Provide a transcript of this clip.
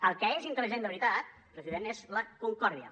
el que és intel·ligent de veritat president és la concòrdia